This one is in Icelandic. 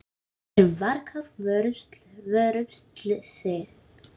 Verum varkár, vörumst slysin.